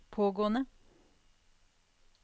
pågående